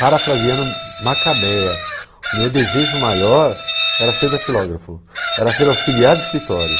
Parafraseando Macabea, o meu desejo maior era ser datilógrafo, era ser auxiliar de escritório.